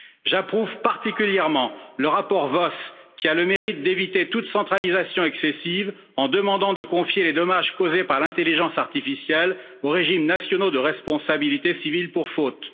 J'approuve particulièrement le rapport Voss, qui a le mérite d'éviter toute centralisation excessive en demandant de confier les dommages causés par l'intelligence artificielle aux régimes nationaux de responsabilité civile pour faute.